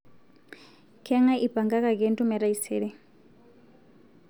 keng'ae eipangakaki entumo e taisere